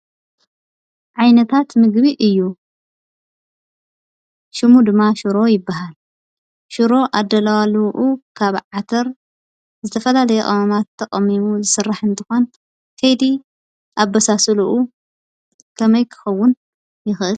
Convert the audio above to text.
ዓይነታት ምግቢ እዩ። ሽሙ ድማ ሽሮ ይበሃል። ሽሮ አደላልውኡ ካብ ዓተር ዝተፈላለየ ቅመማት ተቀሚሙ ዝስራሕ እንትኾን ከይዲ አበሳስልኡ ከመይ ክኸውን ይኽእል?